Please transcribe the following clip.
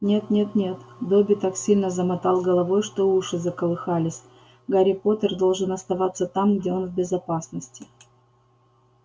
нет-нет-нет добби так сильно замотал головой что уши заколыхались гарри поттер должен оставаться там где он в безопасности